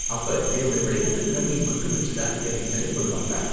அப்ப, என்னோட விளையாட்டு திறமையை மட்டும் வச்சு தான் என்ன செலக்ட் பண்ணுவாங்களா?